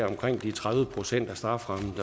omkring de tredive procent af strafferammen